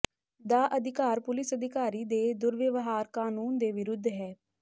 ਦਾ ਅਧਿਕਾਰ ਪੁਲਿਸ ਅਧਿਕਾਰੀ ਦੇ ਦੁਰਵਿਵਹਾਰ ਕਾਨੂੰਨ ਦੇ ਵਿਰੁੱਧ ਹੈ